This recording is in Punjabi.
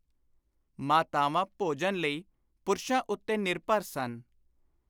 ਮਾਤਾਵਾਂ ਭੋਜਨ ਲਈ ਪੁਰਸ਼ਾਂ ਉੱਤੇ ਨਿਰਭਰ ਸਨ।